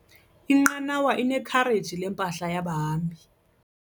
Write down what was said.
Inqanawa inekhareji lempahla yabahambi.